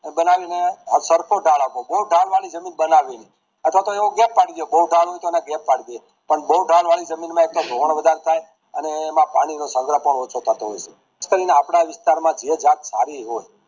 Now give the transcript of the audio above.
બનાવી સરખો ઠાલ આપવો બોવ ઠાલ વળી જમીન બનાવી નાઈ અથવા તો યોગ પડી દયો બોવ થાળ હોય તો ગેપ પડી દયો પણ બોવ ઠાલ વળી જમીન માં ધોવાણ વધારે થાય અને એમ પાણી નો સંગ્રહ પણ ઓછો થતો હોય છે આપડા વિસ્તાર માં ભેજ વળી હોય